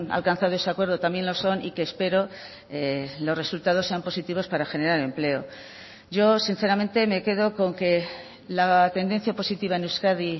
alcanzado ese acuerdo también lo son y que espero los resultados sean positivos para generar empleo yo sinceramente me quedo con que la tendencia positiva en euskadi